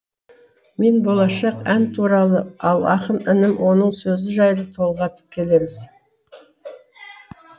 мен болашақ ән туралы ал ақын інім оның сөзі жайлы толғатып келеміз